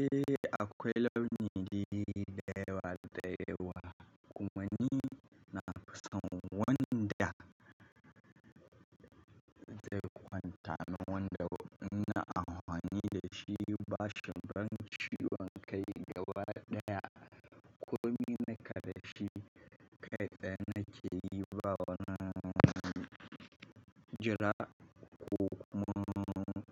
Eh akwai launin da yawa da yawa kuma ni na fi son wanda zai kwanta min wanda in ina amfani da shi bashin ban shiru hankali gaba daya. Kuma ni na karashi kaiɗan na ke yi ba wani jira ko wani